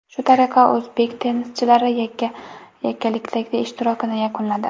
Shu tariqa, o‘zbek tennischilari yakkalikdagi ishtirokini yakunladi.